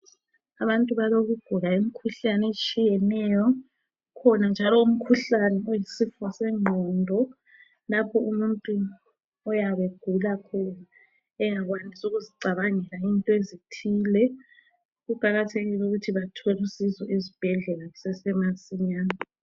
Abantu balokugula imkhuhlane etshiyeneyo, ukhona njalo imkhuhlane oyisifo sengqondo lapho umuntu oyabe egula khona engakwanisi ukuzicabangela into ezithile. Kuqakathekile ukuthi abantu bathole usizo ezibhedlela kusesemasinyane.